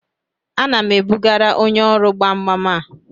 Ana m ebugara onye ọrụ gbam gbam a